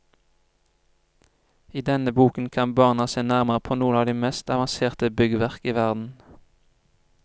I denne boken kan barna se nærmere på noen av de mest avanserte byggverk i verden.